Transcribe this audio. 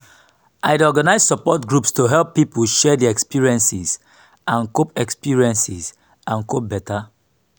i dey organize support groups to help pipo share their experiences and cope experiences and cope beta.